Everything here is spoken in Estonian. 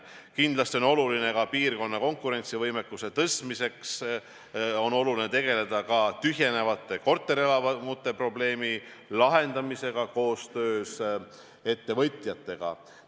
Kindlasti on oluline piirkonna konkurentsivõime tõstmiseks tegeleda ka tühjenevate korterelamute probleemi lahendamisega koostöös ettevõtjatega.